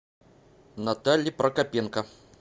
наталье прокопенко